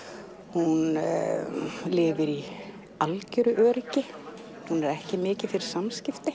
hún lifir í algjöru öryggi hún er ekki mikið fyrir samskipti